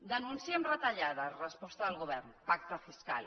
denunciem retallades resposta del govern pacte fiscal